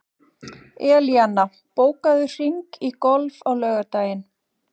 Elíanna, bókaðu hring í golf á laugardaginn.